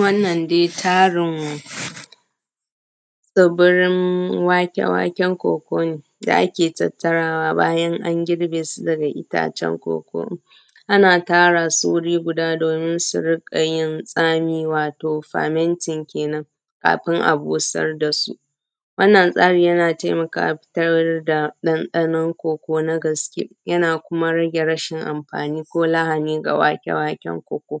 Wannan dai tarin tsibirin wake-waken koko ne da ake tattarawa bayan an girbe su daga itacen koko, ana tara su guri guda domin su riƙa yin tsami wato(permitting )kenen kafin a busar dasu. Wannan yana taimakawa a fitar da dandano koko na gaske, yana kuma rage rashin amfani ko lahani ga wake-waken koko.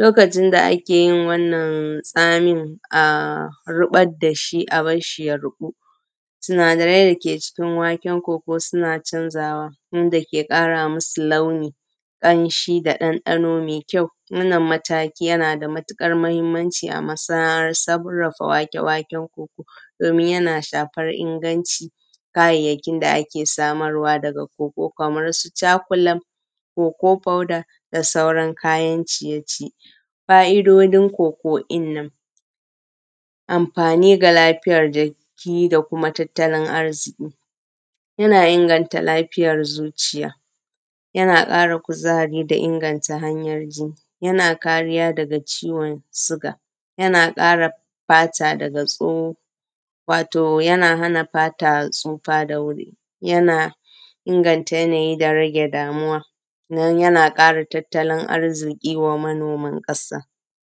Lokacin da ake yin wannan tsamin a ribar dashi a barshi ya rubu, sinadarai dake cikin waken koko suna canzawa wanda ke ƙara musu launi, ƙamshi da ɗanɗano mai kyau, wannan mataki yana da matuƙar mahimmanci a masana’an sarrafa wake-waken koko, domin yana shafar inganci kayayyakin da ake samarwa daga koko, kaman su cakulab, koko foda da sauran kayan ciye-ciye. Fa’idodin koko din nan, amfani ga lafiyar jiki da kuma tattalin arziki, yana inganta lafiyar zuciya, yana kara kuzari da inganta hanyar jini, yana kariya daga ciwon suga, yana kare fata daga tso, wato yana hana fata tsufa da wuri, yana inganta yana yi da rage damuwa, don yana ƙara tattalin arziki wa manoman ƙasa.